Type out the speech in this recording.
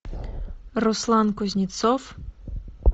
руслан кузнецов